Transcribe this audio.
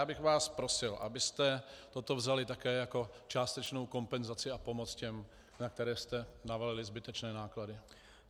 Já bych vás prosil, abyste toto vzali také jako částečnou kompenzaci a pomoc těm, na které jste navalili zbytečné náklady.